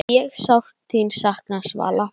Ég sárt þín sakna, Svala.